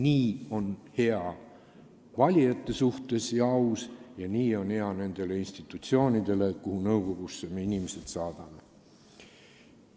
Nii on hea valijatele ja aus nende suhtes ning nii on hea nendele institutsioonidele, mille nõukogudesse me inimesi saadame.